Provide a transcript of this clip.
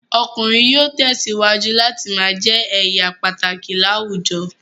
Ọkùnrin yóò tẹ̀síwájú láti ma jẹ́ èèyà pàtàkì láwùjọ